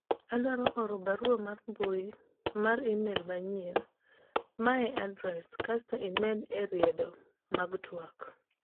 adwaro oro barua mar mbui mar email manyien ma e adres kasto imede e riedo mag twak